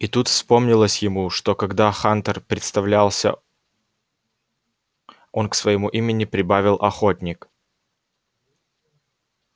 и тут вспомнилось ему что когда хантер представлялся он к своему имени прибавил охотник